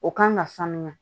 O kan ka sanuya